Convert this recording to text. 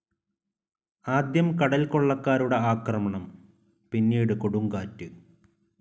ആദ്യം കടൽക്കൊളളക്കാരുടെ ആക്രമണം, പിന്നെ കൊടുങ്കാറ്റ്.